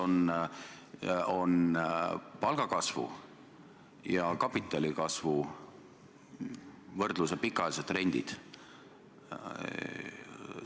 Ja millised on palgatõusu ja kapitali kasvu võrdluse pikaajalised trendid?